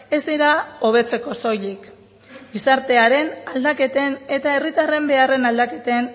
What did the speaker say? ez dira hobetzeko soilik gizartearen aldaketen eta herritarren beharren aldaketen